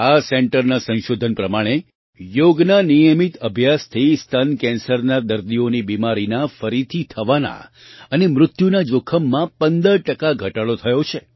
આ સેન્ટરના સંશોધન પ્રમાણે યોગના નિયમિત અભ્યાસથી સ્તન કેન્સરના દર્દીઓની બીમારીના ફરીથી થવાના અને મૃત્યુના જોખમમાં 15 ટકા ઘટાડો થયો છે